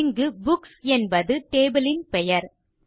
இங்கு புக்ஸ் என்பது டேபிள் பெயர்